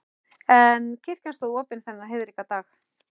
En kirkjan stóð opin þennan heiðríka dag.